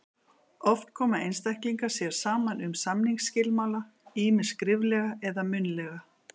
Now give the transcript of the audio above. Oft koma einstaklingar sér saman um samningsskilmála, ýmist skriflega eða munnlega.